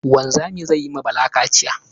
Wanzamin zai yi ma Bala kaciya.